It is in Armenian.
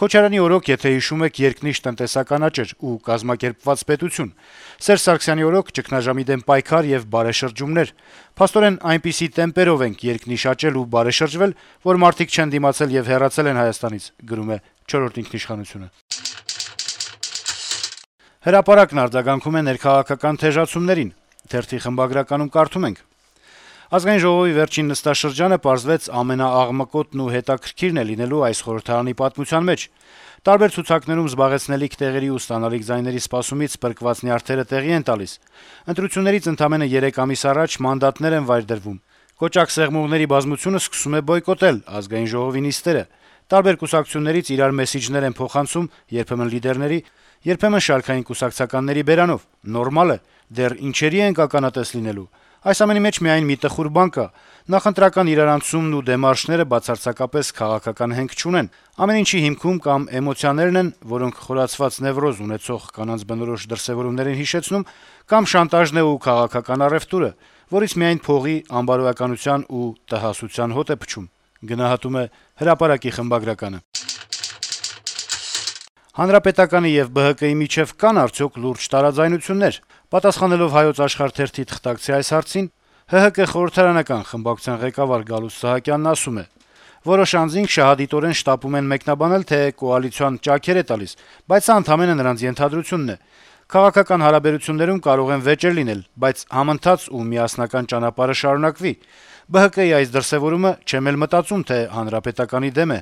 Քոչարյանի օրոք, եթե հիշում եք, «երկնիշ տնտեսական աճ» էր ու «կազմակերպված պետություն», Սերժ Սարգսյանի օրոք` ճգնաժամի դեմ պայքար եւ «բարեշրջումներ»: Փաստորեն, այնպիսի տեմպերով ենք երկնիշ աճել ու բարեշրջվել, որ մարդիկ չեն դիմադել եւ հեռացել են Հայաստանից»: «Հրապարակ»-ն արձագանքում է ներքաղաքական թեժացումներին. - «Ազգային ժողովի վերջին նստաշրջանը, պարզվեց, ամենաաղմկոտն ու հետաքրքիրն է լինելու այս խորհրդարանի պատմության մեջ: Տարբեր ցուցակներում զբաղեցնելիք տեղերի ու ստանալիք ձայների սպասումից պրկված նյարդերը տեղի են տալիս: Ընտրություններից ընդամենը 3 ամիս առաջ մանդատներ են վայր դրվում: Կոճակ սեղմողների բազմությունը սկսում է բոյկոտել ԱԺ նիստերը: Տարբեր կուսակցություններից իրար մեսիջներ են փոխանցում՝ երբեմն լիդերների, երբեմն շարքային կուսակցականների բերանով: Նորմալ է: Դեռ ինչերի՜ ենք ականատես լինելու: Այս ամենի մեջ միայն մի տխուր բան կա՝ նախընտրական իրարանցումն ու դեմարշները բացարձակապես քաղաքական հենք չունեն: Ամեն ինչի հիմքում կամ էմոցիաներն են, որոնք խորացված նեւրոզ ունեցող կանանց բնորոշ դրսեւորումներ են հիշեցնում: Կամ շանտաժն է ու քաղաքական առեւտուրը, որից միայն փողի, անբարոյականության ու տհասության հոտ է փչում»: Պատասխանելով «Հայոց Աշխարհ» թերթի թղթակցի հարցին, թե կան արդյոք լուրջ տարաձայնություններ ԲՀԿ-ի եւ ՀՀԿ-ի միջեւ` Հանրապետականի խորհրդարանական խմբակցության ղեկավար Գալուստ Սահակյանն ասում է. - «Որոշ անձինք շահադիտորեն շտապում են մեկնաբանել, թե կոալիցիան ճաքեր է տալիս, բայց սա ընդամենը նրանց ենթադրությունն է: Քաղաքական հարաբերություններում կարող են վեճեր լինել, բայց համընթաց ու միասնական ճանապարհը շարունակվի: ԲՀԿ-ի այս դրսեւորումը, չեմ էլ մտածում, թե Հանրապետականի դեմ է»: